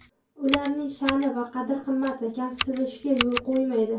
Ularning sha’ni va qadr-qimmati kamsitilishiga yo‘l qo‘ymaydi.